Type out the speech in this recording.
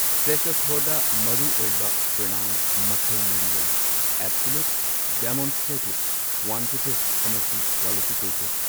ꯁꯦꯁꯣꯊꯣꯗ ꯃꯔꯨꯑꯣꯏꯕ ꯄ꯭ꯔꯣꯅꯥꯎꯟ ꯃꯈꯜ ꯃꯔꯤ ꯂꯩ꯫ ꯑꯦꯕꯁꯣꯂꯨꯠ, ꯗꯦꯃꯣꯟꯁꯇ꯭ꯔꯦꯇꯤꯚ, ꯀ꯭ꯋꯥꯂꯤꯐꯤꯀꯦꯇꯤꯚ ꯑꯃꯁꯨꯡ ꯀ꯭ꯋꯥꯟꯇꯤꯇꯤꯚ꯫